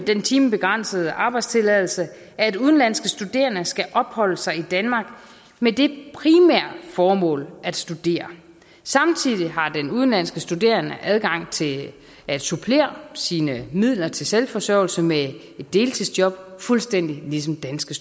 den timebegrænsede arbejdstilladelse at udenlandske studerende skal opholde sig i danmark med det primære formål at studere samtidig har den udenlandske studerende adgang til at supplere sine midler til selvforsørgelse med et deltidsjob fuldstændig ligesom danske